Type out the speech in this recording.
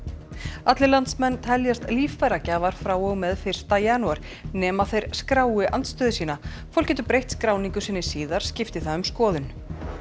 allir landsmenn teljast líffæragjafar frá og með fyrsta janúar nema þeir skrái andstöðu sína fólk getur breytt skráningu sinni síðar skipti það um skoðun